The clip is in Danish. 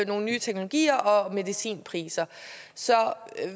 nogle nye teknologier og medicinpriserne så